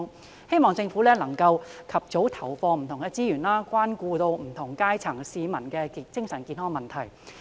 我希望政府能夠及早投放資源，關顧不同階層市民的精神健康問題。